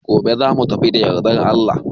Gobe za mu tafi da yardar Allah.